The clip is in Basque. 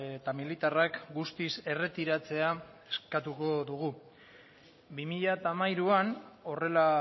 eta militarrak guztiz erretiratzea eskatuko dugu bi mila hamairuan horrela